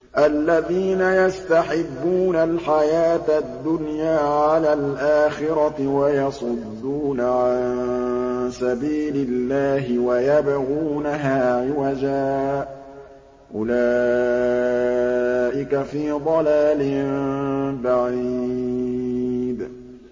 الَّذِينَ يَسْتَحِبُّونَ الْحَيَاةَ الدُّنْيَا عَلَى الْآخِرَةِ وَيَصُدُّونَ عَن سَبِيلِ اللَّهِ وَيَبْغُونَهَا عِوَجًا ۚ أُولَٰئِكَ فِي ضَلَالٍ بَعِيدٍ